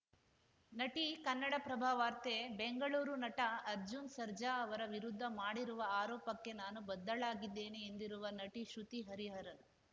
ನಟಿ ಕನ್ನಡಪ್ರಭ ವಾರ್ತೆ ಬೆಂಗಳೂರು ನಟ ಅರ್ಜುನ್‌ ಸರ್ಜಾ ಅವರ ವಿರುದ್ಧ ಮಾಡಿರುವ ಆರೋಪಕ್ಕೆ ನಾನು ಬದ್ಧಳಾಗಿದ್ದೇನೆ ಎಂದಿರುವ ನಟಿ ಶ್ರುತಿ ಹರಿಹರನ್‌